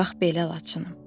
Bax belə, Laçınım.